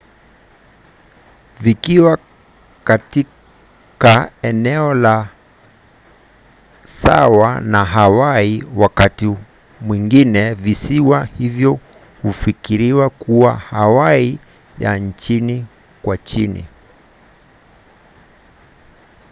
vikiwa katika eneo la saa sawa na hawaii wakati mwingine visiwa hivyo hufikiriwa kuwa hawaii ya chini kwa chini